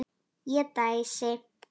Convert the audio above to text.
Ég dæsi.